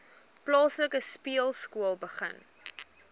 plaaslike speelskool begin